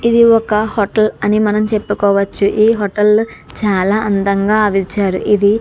ఇది ఒక హోటల్ అని మనం చెప్పుకోవచ్చు . ఈ హోటల్ లో చాలా అందంగా . ఇది--